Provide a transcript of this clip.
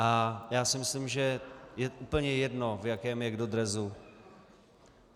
A já si myslím, že je úplně jedno, v jakém je kdo dresu.